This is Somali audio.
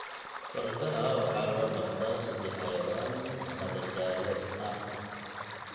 Fardaha waxaa loo dhaqdaa sidii xayawaan madadaalo ah.